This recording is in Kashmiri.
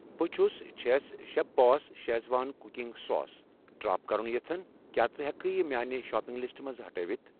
بہٕ چھس چھَس chef boss Schezwan cooking sauce drop کرُن یژھان، کیٛاہ ژٕ ہٮ۪کہٕ یہِ میانہِ شاپنگ لسٹہٕ منٛز ہٹٲوِتھ؟